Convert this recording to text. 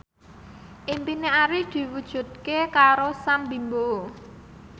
impine Arif diwujudke karo Sam Bimbo